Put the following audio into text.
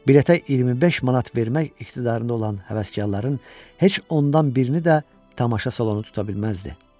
Biletə 25 manat vermək iqtidarında olan həvəskarların heç ondan birini də tamaşa salonu tuta bilməzdi.